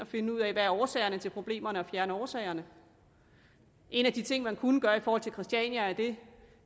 finde ud af hvad årsagerne til problemerne og fjerne årsagerne en af de ting man kunne gøre i forhold til christiania er det